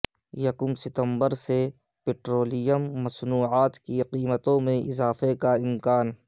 یکم ستمبر سے پٹرولیم مصنوعات کی قیمتوں میں اضافے کا امکان